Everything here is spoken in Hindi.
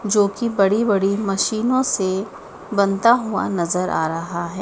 जो की बड़ी बड़ी मशीनों से बनता हुआ नजर आ रहा है।